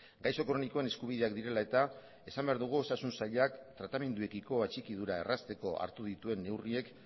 gaixo kronikoen eskubideak direla eta esan behar dugu osasun sailak tratamenduekiko atxikidura errazteko hartu dituen neurriek